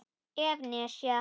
ef. nesja